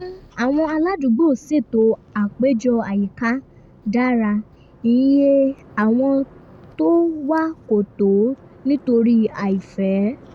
àwọn aládùúgbò ṣètò àpéjọ àyíká dára iye àwọn tó wá kò tó nítorí àìfẹ́